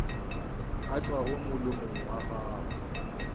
a tšwago molomong wa gago